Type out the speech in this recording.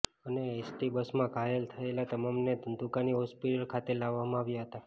અને એસટી બસમાં ઘાયલ થયેલા તમામને ધંધુકાની હોસ્પીટલ ખાતે લાવવામાં આવ્યા હતા